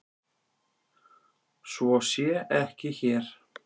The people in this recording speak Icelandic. Svo sé ekki hér.